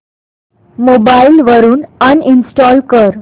mobile वरून uninstall कर